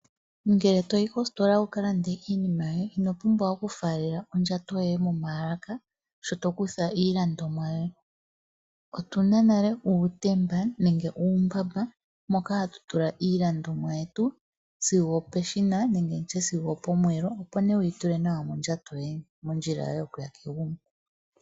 Ngele to yi kositola wu ka lande iinima yoye, ino pumbwa okufaalela ondjato yoye momaalaka sho to kutha iilandomwa yoye. Otu na nale uutemba nenge uumbamba moka hatu tula iilandomwa yetu, sigo opeshina nenge ndi tye sigo opomweelo, opo wu yi tule nawa mondjato yoye, mondjila yoye yokuya kegumbo.